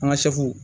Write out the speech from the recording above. An ka sɛw